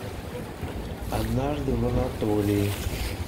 однажды в анатолии